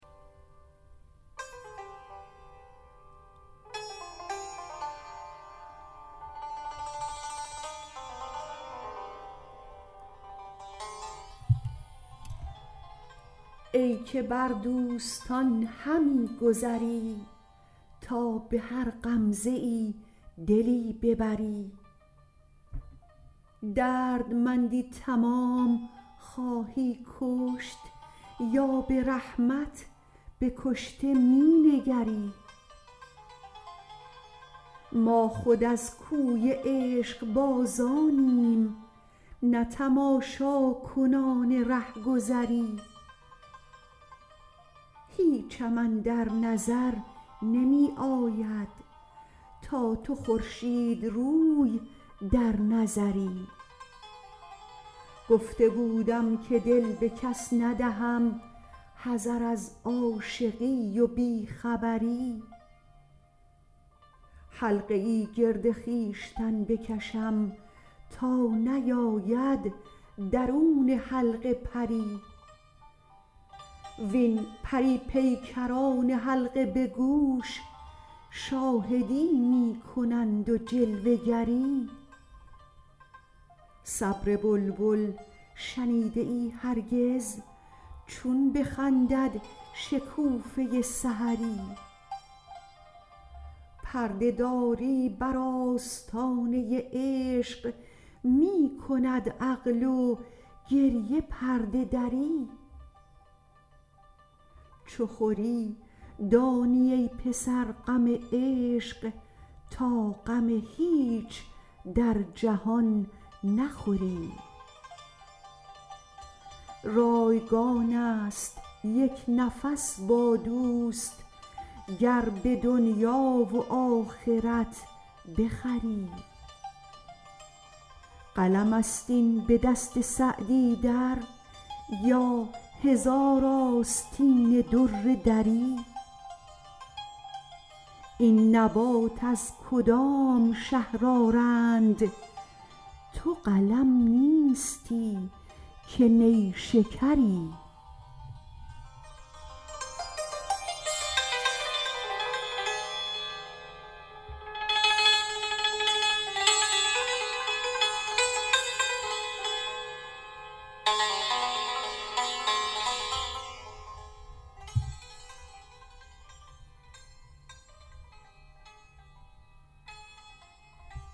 ای که بر دوستان همی گذری تا به هر غمزه ای دلی ببری دردمندی تمام خواهی کشت یا به رحمت به کشته می نگری ما خود از کوی عشقبازانیم نه تماشاکنان رهگذری هیچم اندر نظر نمی آید تا تو خورشیدروی در نظری گفته بودم که دل به کس ندهم حذر از عاشقی و بی خبری حلقه ای گرد خویشتن بکشم تا نیاید درون حلقه پری وین پری پیکران حلقه به گوش شاهدی می کنند و جلوه گری صبر بلبل شنیده ای هرگز چون بخندد شکوفه سحری پرده داری بر آستانه عشق می کند عقل و گریه پرده دری چو خوری دانی ای پسر غم عشق تا غم هیچ در جهان نخوری رایگان است یک نفس با دوست گر به دنیا و آخرت بخری قلم است این به دست سعدی در یا هزار آستین در دری این نبات از کدام شهر آرند تو قلم نیستی که نیشکری